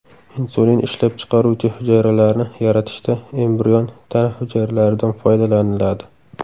Insulin ishlab chiqaruvchi hujayralarni yaratishda embrion tana hujayralaridan foydalaniladi.